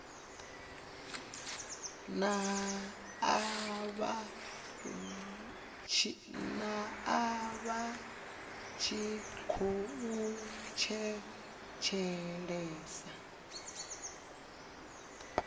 nae vha tshi khou thetshelesa